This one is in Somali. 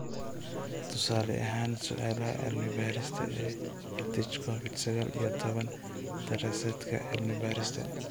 Tusaale ahaan su'aalaha cilmi-baarista ee EdTech Covid sagaal iyo tobbaan daraasaadka cilmi-baarista